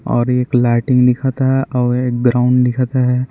और एक लाइटिंग दिखत हां और ए ग्राउंड दिखत हे।